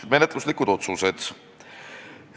Menetluslikud otsused.